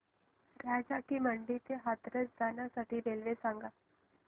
राजा की मंडी ते हाथरस जाण्यासाठी रेल्वे सांग